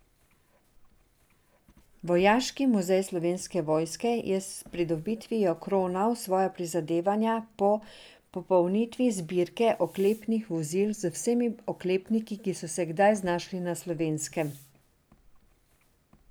Vojaški muzej Slovenske vojske je s pridobitvijo kronal svoja prizadevanja po popolnitvi zbirke oklepnih vozil z vsemi oklepniki, ki so se kdaj znašli na Slovenskem.